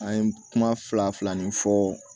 An ye kuma fila fila min fɔ